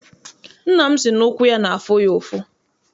Nna m si na ụkwụ ya n'afụ ya ụfụ.